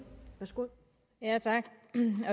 med